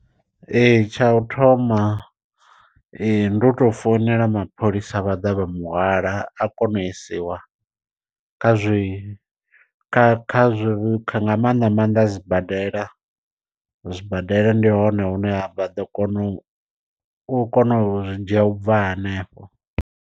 Ee tsha u thoma ndi u tou founela mapholisa vha ḓa vha mu hwala a kona u isiwa kha zwi kha kha zwi nga maanḓa maanḓa sibadela. Zwibadela ndi hone hune vha ḓo kona u kona u zwi dzhia ubva hanefho.